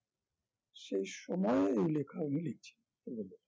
সেই সময়ে এই লেখা